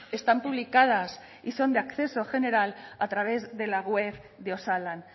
están publicadas y son de acceso general a través de la web de osalan